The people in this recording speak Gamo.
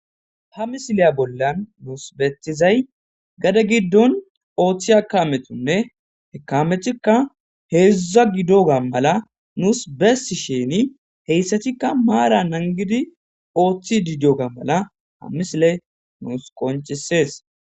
ha misiliya bollan nuus bettizay gade giddon ooththi kaametunne he kamethikka heezdza gido ga mala nuus bessi sheni heyssatikka maara nangidi ooththi dido ga mala ha misile nuus qonchisees